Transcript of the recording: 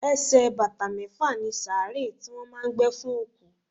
Ẹsẹ̀ bàtà mẹ́fà ni sàárè tí wọ́n máà ń gbé fún òkú.